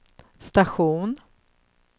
station